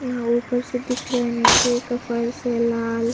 यह ऊपर से दिख रहा है निचे एक फ़र्श है लाल--